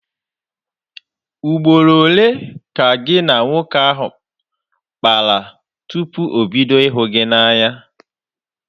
Ugboro ole ka gị na nwoke ahụ kpara tupu o bido ịhụ gị n'anya?